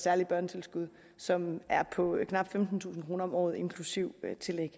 særligt børnetilskud som er på knap femtentusind kroner om året inklusive tillæg